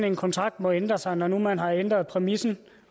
en kontrakt må ændre sig når nu man har ændret præmissen